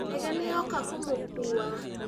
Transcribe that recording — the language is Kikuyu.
Ndege nĩnyoka kũmũkuwa.